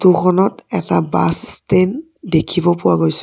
Photo খনত এটা bus stand দেখিব পোৱা গৈছে।